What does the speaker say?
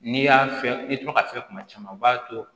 N'i y'a fiyɛ i bi to ka fiyɛ kuma caman o b'a to